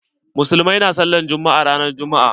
Musulmai na sallar juma'a ran juma'a